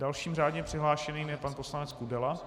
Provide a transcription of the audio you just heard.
Dalším řádně přihlášeným je pan poslanec Kudela.